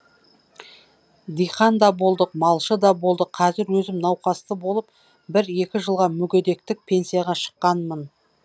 диқан да болдық малшы да болдық қазір өзім науқасты болып бір екі жылға мүгедектік пенсияға шыққанмын